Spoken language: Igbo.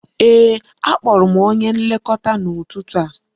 Ee, a kpọrọ m onye Nlekọta n'ụtụtụ a